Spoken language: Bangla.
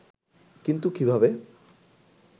কিন্তু কীভাবে